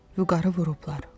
Vüqarı vurublar.